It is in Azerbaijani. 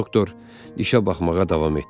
Doktor, dişə baxmağa davam etdi.